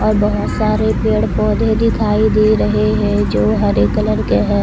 और बहुत सारे पेड़ पौधे दिखाई दे रहे हैं जो हरे कलर के है।